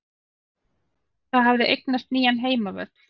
Það hafði eignast nýjan heimavöll.